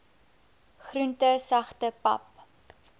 groente sagte pap